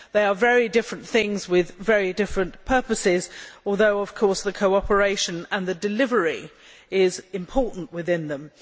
They are very different things with very different purposes, although of course the cooperation and the delivery are important within them.